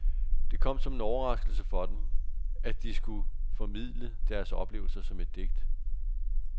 Det kom som en overraskelse for dem, at de skulle formidle deres oplevelser som et digt.